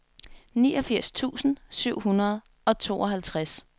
niogfirs tusind syv hundrede og tooghalvtreds